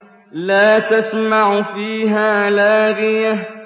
لَّا تَسْمَعُ فِيهَا لَاغِيَةً